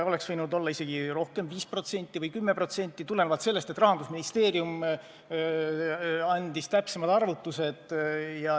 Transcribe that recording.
Oleks võinud olla isegi rohkem, 5% või 10% tulenevalt sellest, et Rahandusministeerium andis täpsemad arvutused.